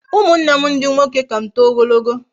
Umunnem ndi nwoke ka m too ogologo